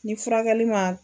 Ni furakɛli ma